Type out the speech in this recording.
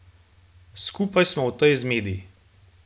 Skupaj smo v tej zmedi.